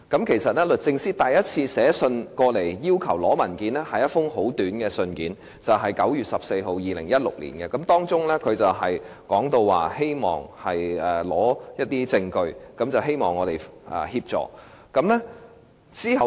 其實，律政司首先是以一封簡短的信函要求索取文件的，時為2016年9月14日，當中提到希望索取證據，要求我們協助。